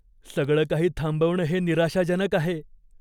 सगळं काही थांबवणं हे निराशाजनक आहे.